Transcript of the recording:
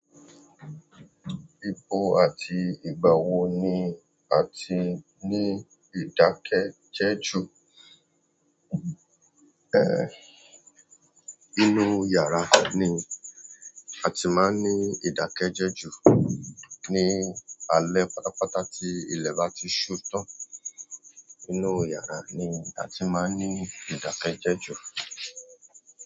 Ipò àti ìgbà wo ni a ti ní ìdákẹ́jẹ́jù? Eh, inú yàrá ni a ti máa ń ní ìdákẹ́jẹ́jù. Ni alẹ́ pátápátá tí ilẹ̀ bá ti ṣu tán. Inú yàará ni a ti máa ń ní ìdákẹ́jẹ́jù.